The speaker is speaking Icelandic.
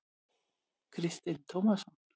Kristinn Tómasson.